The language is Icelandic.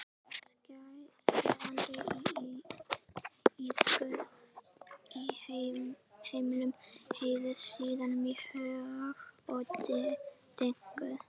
Skerandi ískur í hemlum heyrist, síðan högg og dynkur.